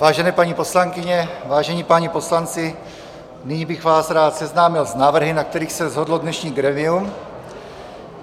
Vážené paní poslankyně, vážení páni poslanci, nyní bych vás rád seznámil s návrhy, na kterých se shodlo dnešní grémium.